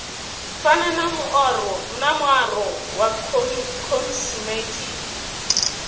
fana na muaro wa khosimetiki